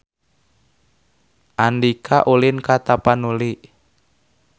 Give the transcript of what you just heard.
Andika ulin ka Tapanuli